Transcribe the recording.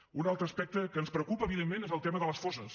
un altre aspecte que ens preocupa evidentment és el tema de les fosses